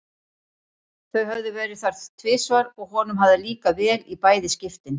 Þau höfðu verið þar tvisvar og honum hafði líkað vel í bæði skiptin.